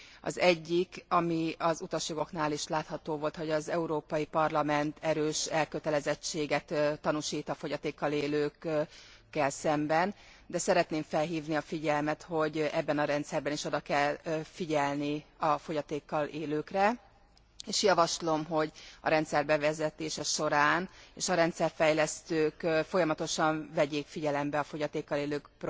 Az egyik, ami az utasjogoknál is látható volt, hogy az Európai Parlament erős elkötelezettséget tanúsít a fogyatékkal élőkkel szemben, de szeretném felhívni a figyelmet, hogy ebben a rendszerben is oda kell figyelni a fogyatékkal élőkre és javaslom, hogy a rendszer bevezetése során és a rendszerfejlesztők folyamatosan vegyék figyelembe a fogyatékkal élők